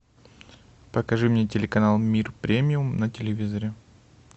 покажи мне телеканал мир премиум на телевизоре